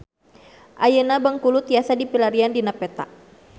Ayeuna Bengkulu tiasa dipilarian dina peta